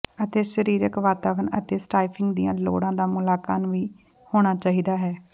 ਅਤੇ ਸਰੀਰਕ ਵਾਤਾਵਰਣ ਅਤੇ ਸਟਾਫਿੰਗ ਦੀਆਂ ਲੋੜਾਂ ਦਾ ਮੁਲਾਂਕਣ ਵੀ ਹੋਣਾ ਚਾਹੀਦਾ ਹੈ